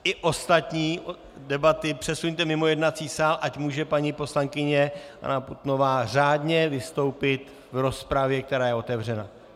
I ostatní debaty přesuňte mimo jednací sál, ať může paní poslankyně Anna Putnová řádně vystoupit v rozpravě, která je otevřena.